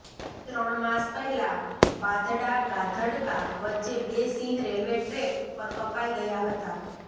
ત્રણ માસ પહેલા બાઢડા ગાધડકા વચ્ચે બે સિંહ રેલવે ટ્રેક પર કપાઇ ગયા હતા